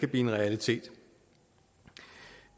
en realitet